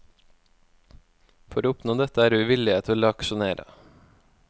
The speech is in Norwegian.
For å oppnå dette er vi villige til å aksjonere.